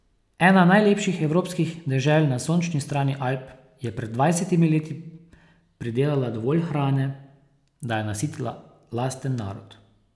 Ena najlepših evropskih dežel na sončni strani Alp je pred dvajsetimi leti pridelala dovolj hrane, da je nasitila lasten narod.